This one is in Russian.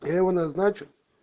я его назначу